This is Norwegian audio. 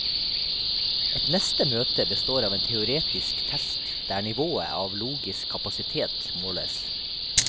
Et neste møte består av en teoretisk test, der nivået av logisk kapasitet måles.